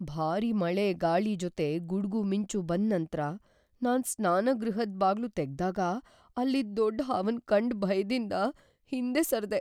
ಭಾರಿ ಗಾಳಿ ಮಳೆ ಜೊತೆ ಗುಡ್ಗು ಮಿಂಚು ಬಂದ್ ನಂತ್ರ, ನಾನ್ ಸ್ನಾನಗೃಹದ್ ಬಾಗ್ಲು ತೆಗ್ದಾಗ ಅಲ್ಲಿದ್ ದೊಡ್ ಹಾವನ್ ಕಂಡ್ ಭಯದಿಂದ್ ಹಿಂದೆ ಸರ್ದೇ.